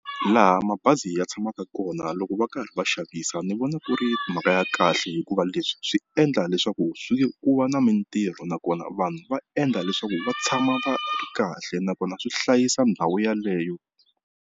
Laha mabazi ya tshamaka kona loko va karhi va xavisa ni vona ku ri mhaka ya kahle hikuva leswi swi endla leswaku swi ku va na mintirho nakona vanhu va endla leswaku va tshama va ri kahle nakona swi hlayisa ndhawu yeleyo.